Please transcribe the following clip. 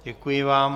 Děkuji vám.